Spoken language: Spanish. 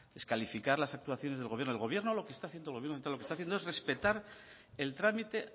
descalificar las actuaciones del gobierno el gobierno lo que está haciendo es respetar el trámite